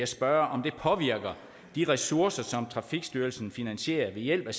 spørge om det påvirker de ressourcer som trafikstyrelsen finansierer ved hjælp af